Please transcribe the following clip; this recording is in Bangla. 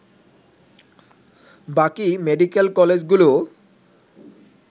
বাকি মেডিকেল কলেজগুলোও